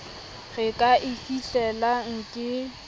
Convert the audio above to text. re ka e fihlelang ke